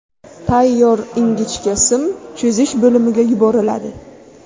Tayyor ingichka sim cho‘zish bo‘limiga yuboriladi.